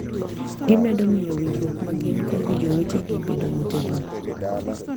Gimedo miyo winjruok ma gin-go gi jowetegi bedo motegno.